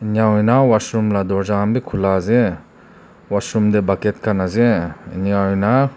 enakura na washroom la dorja han bi khula ase washroom tae bucket khan ase enakurna--